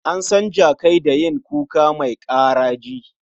An san jakai da yin kuka mai ƙaraji